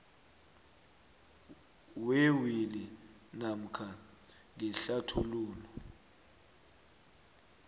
wewili namkha ngehlathululo